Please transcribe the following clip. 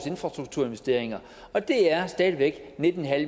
infrastrukturinvesteringerne og det er stadig væk nitten